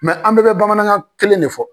an bɛɛ bɛ bamanankan kelen de fɔ.